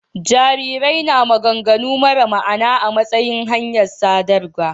Jarirai na maganganu mara ma'ana a matsayin hanyar sadarwarsu.